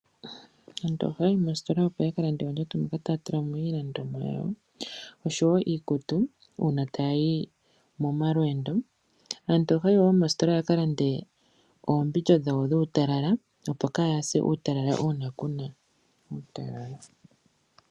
Aantu ohaya yi moositola opo ya ka lande oondjato moka taya tula iilandomwa yawo oshowo iikutu uuna taya yi momalweendo. Aantu ohaya yi wo moositola ya ka lande oombindja dhawo dhuutalala opo ka ya se uutalala uuna ku na uutalala.